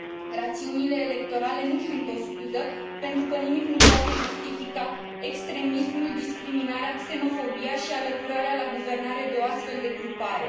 Rațiunile electorale nu sunt o scuză, pentru că nimic nu poate justifica extremismul, discriminarea, xenofobia și alăturarea la guvernare de o astfel de grupare.